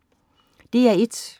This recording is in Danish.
DR1: